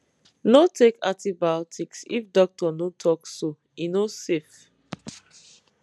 no take antibiotics if doctor no talk so e no safe